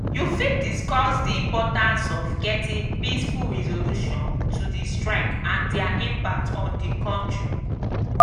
you fit discuss di importance of getting peaceful resolution to di strike and dia impact on di country.